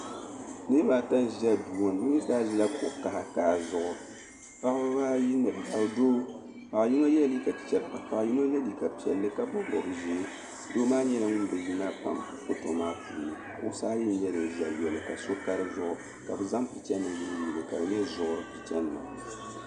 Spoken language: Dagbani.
Niribaata nʒiya duuŋɔni bɛni zaa ʒila kuɣisi ata zuɣu paɣibi ayi ni doo, paɣiyinɔ yela liiga piɛli. ka paɣi yinɔ gba ye liiga piɛli ka bɔbi bɔb ʒɛɛ, doo nyɛla ŋun ni yina kpaŋa shikuru maa puuni kuɣisi ayi n ʒɛya yɔli kaso ka di zuɣu. ka bɛ zaŋ pichanim n yili yili ka dinya zuɣuri pichanima.